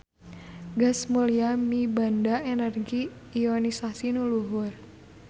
Gas mulya mibanda energi ionisasi nu luhur.